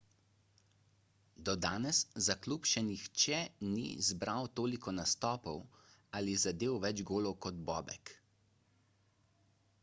do danes za klub še nihče ni zbral toliko nastopov ali zadel več golov kot bobek